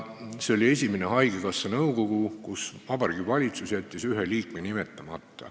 See oli esimene haigekassa nõukogu, kuhu Vabariigi Valitsus jättis ühe liikme nimetamata.